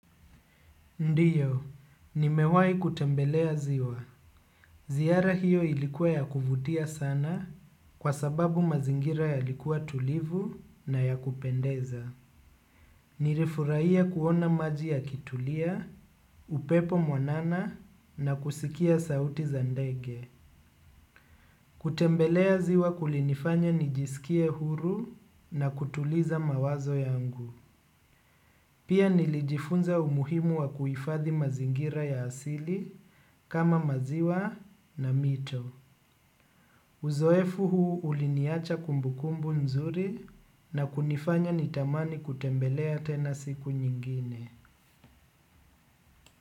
Ndiyo, nimewai kutembelea ziwa. Ziara hiyo ilikuwa ya kuvutia sana kwa sababu mazingira yalikuwa tulivu na ya kupendeza. Nirifurahia kuona maji yakitulia, upepo mwanana na kusikia sauti za ndege. Kutembelea ziwa kulinifanya nijisikie huru na kutuliza mawazo yangu. Pia nilijifunza umuhimu wa kuifadhi mazingira ya asili kama maziwa na mito. Uzoefu huu uliniacha kumbukumbu nzuri na kunifanya nitamani kutembelea tena siku nyingine.